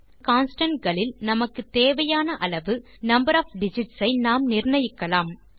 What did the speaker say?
மேலும் கான்ஸ்டன்ட் களில் நமக்கு தேவையான அளவு நம்பர் ஒஃப் டிஜிட்ஸ் ஐ நாம் நிர்ணயிக்கலாம்